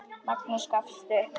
Magnús gafst upp.